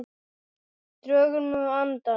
Drögum nú andann.